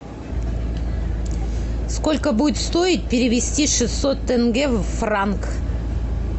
сколько будет стоить перевести шестьсот тенге в франк